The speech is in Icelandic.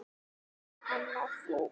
Jóhanna: Þú?